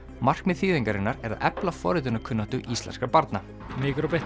markmið þýðingarinnar er að efla forritunarkunnáttu íslenskra barna micro bit